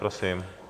Prosím.